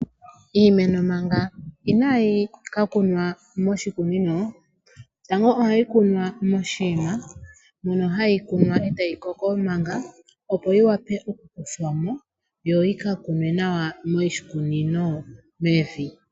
Iimeno manga inaayi ka kunwa moshikunino. Tango ohayi kunwa moshinima mono hayi kunwa etayi koko manga opo yi wape oku kuthwamo yo yi ka kunwe nawa moshikunino mevi.